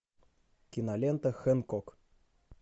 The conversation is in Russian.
кинолента хэнкок